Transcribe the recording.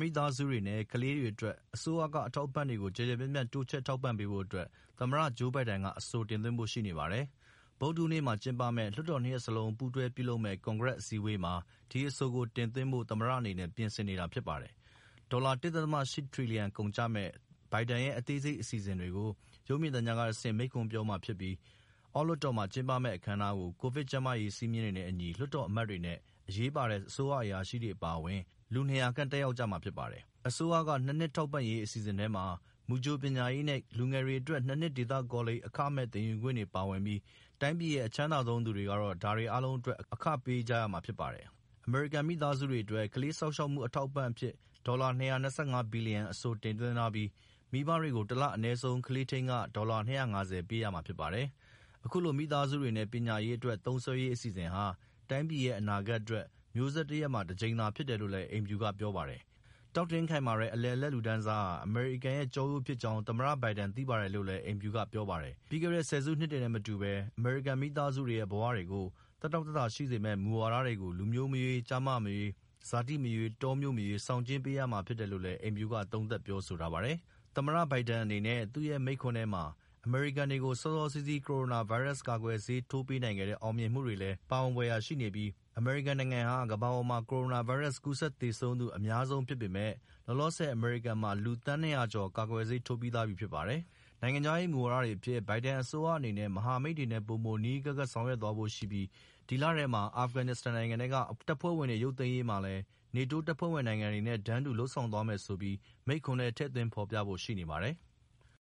မိသားစုတွေနဲ့ကလေးတွေအတွက် အစိုးရ အထောက်အပံ့တွေကို ကျယ်ကျယ်ပြန့်ပြန့် တိုးချဲ့ထောက်ပံ့ပေးဖို့ အတွက် သမ္မတ ဂျိူးဘိုင်ဒန်က အဆိုတင်သွင်းဖို့ရှိနေပါတယ်။ ဗုဒ္ဓဟူးနေ့မှာကျင်းပမယ့် လွှတ်တော်နှစ်ရပ်စလုံး ပါဝင်တဲ့ ကွန်ဂရက်ကို မိန့်ခွန်းပြောကြားရာမှာ ဒီအဆိုကို ပြုဖို့သမ္မတအနေနဲ့ ပြင်ဆင်နေတာဖြစ်ပါတယ်။ ဒေါ်လာ ၁.၈ ထြီလျံ ကုန်ကျမယ့် ဘိုင်ဒန်ရဲ့ အသေးစိတ်အစီအစဉ်ကို ရုပ်မြင်သံကြားကဆင့် မိန့်ခွန်းပြောမှာဖြစ်ပြီး အောက်လွှတ်တော်မှာ ကျင်းပမယ့် အခမ်းအနားကို ကိုဗစ်ကျန်းမာရေး စည်းမျဉ်းတွေနဲ့အညီ လွှတ်တော်အမတ်တွေနဲ့ အရေးပါတဲ့ အရာရှိကြီးတွေအပါအဝင် လူ ၂၀၀ ခန့်တက်ရောက်ကြမှာဖြစ်ပါတယ်။ အစိုးရက ၂ နှစ်ထောက်ပံ့ရေးအစီအစဉ်ထဲမှာ မူကြိုပညာရေးနဲ့ လူငယ်တွေအတွက် ၂ နှစ်ဒေသကောလိပ်မှာ အခမဲ့ သင်ယူခွင့်တွေပါဝင်ပြီး တိုင်းပြည်ရဲ့ အချမ်းသာဆုံးသူတွေကတော့ ဒါတွေအားလုံးအတွက် အခပေးကြရမှာဖြစ်ပါတယ်။ အမေရိကန် မိသားစုတွေအတွက် ကလေးစောင့်ရှောက်မှုအထောက်အပံ့အဖြစ် ဒေါ်လာ ၂၂၅ ဘီလျံ အဆိုတင်သွင်းထားပြီး မိဘတွေကို တလ အနည်းဆုံး ကလေးထိန်းခ ဒေါ်လာ ၂၅၀ ပေးရမှာဖြစ်ပါတယ်။ အခုလို မိသားစုတွေနဲ့ပညာရေးအတွက် သုံးစွဲရေး အစီအစဉ်ဟာ တိုင်းပြည်ရဲ့ အနာဂတ်အတွက် မျိူးဆက်တရပ်မှာ တကြိမ်သာ ဖြစ်တယ်လို့လည်း အိမ်ဖြူတော်က ပြောပါတယ်။ တောင့်တင်းခိုင်မာတဲ့ အလယ်အလတ်လူတန်းစားဟာ အမေရိကန်ရဲ့ ကျောရိုးဖြစ်တယ်ဆိုတာကို သမ္မတ ဘိုင်ဒန် သိပါတယ်လို့လည်း အိမ်ဖြူတော်က ပြောပါတယ်။ ပြီးခဲ့တဲ့ ဆယ်စုနှစ်တွေနဲ့မတူပဲ အမေရိကန်မိသားစုတွေရဲ့ ဘဝတွေကို သက်တောင့်သက်သာရှိစေမယ့် မူဝါဒတွေကို လူမျိူးမရွေး၊ ကျားမ မရွေး၊ ဇာတိမရွေး၊ တောမြို့မရွေး ဆောင်ကျဉ်းပေးရမှာဖြစ်တယ်လို့အိမ်ဖြူတော်က သုံးသပ်ပြောဆိုထားပါတယ်။ သမ္မတဘိုဒန်အနေနဲ့သူ့ရဲ့ မိန့်ခွန်းထဲမှာ အမေရိကန်တွေကို စောစောစီးစီး ကိုရိုနာဗိုင်းရပ်စ်ကာကွယ်ဆေးထိုးပေးနိုင်ခဲ့တဲ့ အောင်မြင်မှုတွေလည်း ပါဝင်ဖွယ်ရှိနေပြီး အမေရိကန်နိုင်ငံဟာ ကမ္ဘာပေါ်မှာ ကိုရိုနာဗိုင်းရပ်စ်ကူးစက်သေဆုံးသူ အများဆုံးဖြစ်ပေမယ့် လောလောဆယ် အမေရိကန်မှာ လူ သန်း ၂၀၀ ကျော် ကာကွယ်ဆေးထိုးပြီးထားပြီဖြစ်ပါတယ်။ နိုင်ငံခြားရေးမူဝါဒတွေအဖြစ် ဘိုင်ဒန်အစိုးရအနေနဲ့မဟာမိတ်တွေနဲ့ပိုမိုပြီး နီးနီးကပ်ကပ် လုပ်ဆောင်သွားဖို့ရှိပြီး ဒီလထဲမှာ အာဖဂန်နစ္စတန်နိုင်ငံထဲက တပ်ဖွဲ့ဝင်တွေရုပ်သိမ်းရေးမှာလည်း နေတိုးဖွဲ့ဝင်နိုင်ငံတွေနဲ့ တန်းတူ လုပ်ဆောင်သွားမယ်ဆိုပြီး မိန့်ခွန်းထဲ ထည့်သွင်းဖော်ပြဖို့ရှိနေပါတယ်။